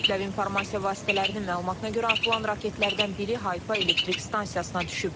Kütləvi informasiya vasitələrinin məlumatına görə atılan raketlərdən biri Hayfa elektrik stansiyasına düşüb.